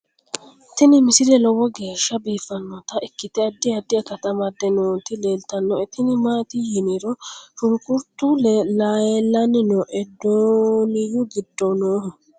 tini misile lowo geeshsha biiffannota ikkite addi addi akata amadde nooti leeltannoe tini maati yiniro shunkuruutu leelanni nooe dooniyu giddo noohu